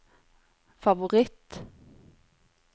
favoritt